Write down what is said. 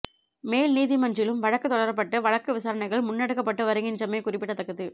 மேல் நீதிமன்றிலும் வழக்கு தொடரப்பட்டு வழக்கு விசாரணைகள் முன்னெடுக்கப்பட்டு வருகின்றமை குறிப்பிடத்தக்கது